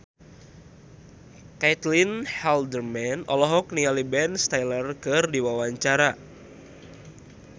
Caitlin Halderman olohok ningali Ben Stiller keur diwawancara